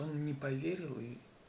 он не поверил и